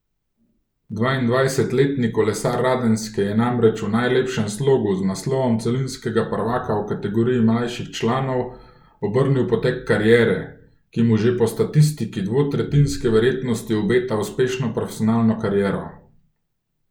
Dvaindvajsetletni kolesar Radenske je namreč v najlepšem slogu z naslovom celinskega prvaka v kategoriji mlajših članov obrnil potek kariere, ki mu že po statistiki dvotretjinske verjetnosti obeta uspešno profesionalno kariero.